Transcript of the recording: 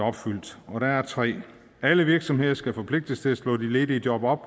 opfyldt og der er tre 1 alle virksomheder skal forpligtes til at slå de ledige job op